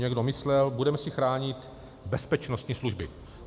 Někdo myslel, budeme si chránit bezpečnostní služby.